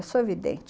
Eu sou evidente.